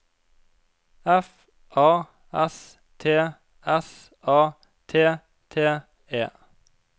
F A S T S A T T E